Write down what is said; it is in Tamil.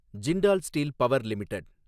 Jindal steel power limited